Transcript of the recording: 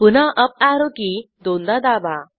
पुन्हा arrow key दोनदा दाबा